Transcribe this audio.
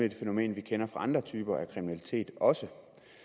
et fænomen vi kender fra andre typer af kriminalitet også